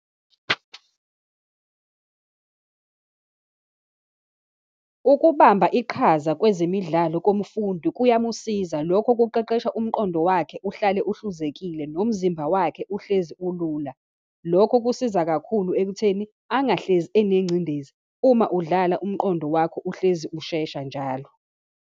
Ukubamba iqhaza kwezemidlalo komfundi kuyamusiza, lokho kuqeqesha umqondo wakhe, uhlale ahluzekile, nomzimba wakhe uhlezi ulula. Lokho kusiza kakhulu ekutheni, angihlezi enengcindezi. Uma udlala umqondo wakho uhlezi ushesha njalo.